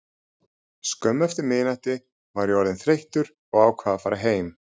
Skömmu eftir miðnætti var ég orðinn þreyttur og ákvað að fara heim.